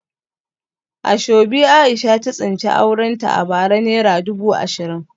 Asoebi Aisha ta tsinci aurenta a bara naira dubu ashirin